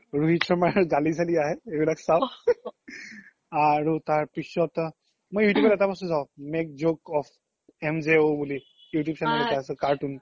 ৰোহিত শৰ্মাৰ গালি চালি আহে এইবিলাক চাও আৰু তাৰ পিছ্ত মই you tube ত এটা বস্তু চাও make joke of MJO বুলি you tube channel এটা আছে cartoon